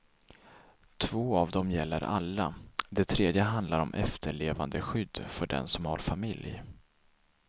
Två av dem gäller alla, det tredje handlar om efterlevandeskydd för den som har familj.